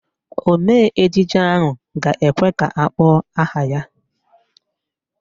Omee ejije ahụ ga-ekwe ka akpọọ aha ya.